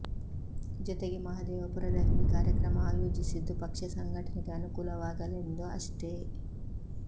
ಜೊತೆಗೆ ಮಹದೇವಪುರದಲ್ಲಿ ಈ ಕಾರ್ಯಕ್ರಮ ಆಯೋಜಿಸಿದ್ದು ಪಕ್ಷ ಸಂಘಟನೆಗೆ ಅನುಕೂಲವಾಗಲೆಂದು ಅಷ್ಟೇ